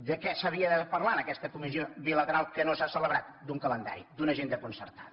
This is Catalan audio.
de què s’havia de parlar en aquesta comissió bilateral que no s’ha celebrat d’un calendari d’una agenda concertada